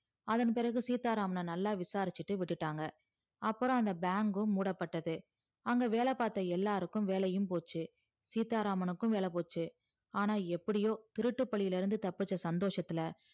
அதன்பிறகு சீத்தா ராமன நல்லா விசாரிச்சிட்டு விட்டுடாங்க அப்பறம் அந்த bank கும் மூடப்பட்டது அங்க வேல பாத்தா எல்லாருக்கும் வேலையும் போச்சி சீத்தா ராமனுக்கு வேல போச்சி ஆனா எப்படியோ திருட்டு பாழில இருந்து தப்பிச்ச சந்தோசத்துல